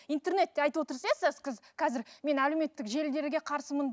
интернетте айтып отырсыз иә қазір мен әлеуметтік желідерге қарсымын